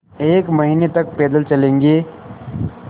एक महीने तक पैदल चलेंगे